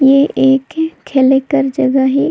ऐ एक खेलेक के जगह हिक।